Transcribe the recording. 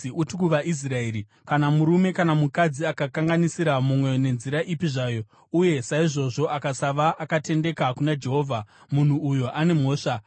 “Uti kuvaIsraeri: ‘Kana murume kana mukadzi akakanganisira mumwe nenzira ipi zvayo uye saizvozvo akasava akatendeka kuna Jehovha, munhu uyo ane mhosva,